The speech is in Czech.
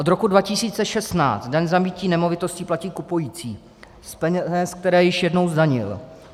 Od roku 2016 daň z nabytí nemovitosti platí kupující z peněz, které již jednou zdanil.